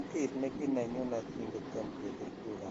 Mp ne kinenyunet ki kotomo kebir kura